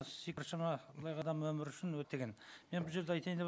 цифр саны былайғы адам өмірі үшін өте мен бұл жерде айтайын